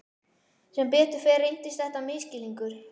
Sem betur fer reyndist þetta misskilningur.